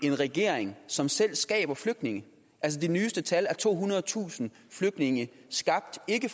en regering som selv skaber flygtninge de nyeste tal er tohundredetusind flygtninge skabt ikke